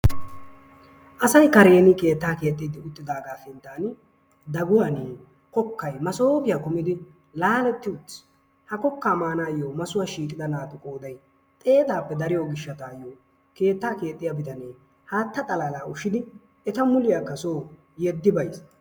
Asay kareeni keettaa keexxidi utaagaa sintaani daguwani kokkay masoofiya kummidi laaletti uttis, ha kokkaa maanayo massuwa shiiqida naatu qooday xeetaappe dariyo gishawu keettaa keexxiya bitanee haatta xalaalaa ushidi eta muliyakka soo yeddi bayiis.